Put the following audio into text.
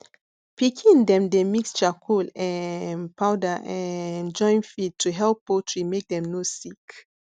pikin dem dey mix charcoal um powder um join feed to help poultry make dem no sick